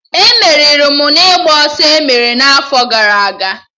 E meriri m ịgba ọsọ emere n'afọ gara aga